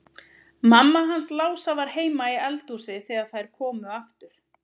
Mamma hans Lása var heima í eldhúsi þegar þær komu aftur.